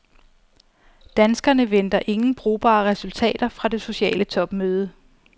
Danskerne venter ingen brugbare resultater fra det sociale topmøde.